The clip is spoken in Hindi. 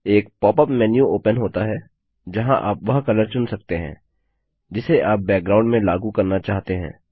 एक पॉप अप मेन्यू ओपन होता है जहाँ आप वह कलर चुन सकते हैं जिसे आप बैकग्राउंड में लागू करना चाहते हैं